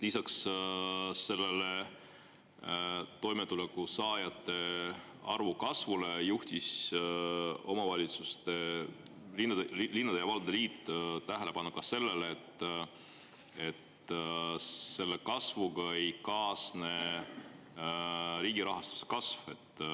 Lisaks sellele toimetulekusaajate arvu kasvule juhtis omavalitsuste, linnade ja valdade liit tähelepanu ka sellele, et selle kasvuga ei kaasne riigi rahastuse kasv.